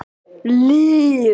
Liv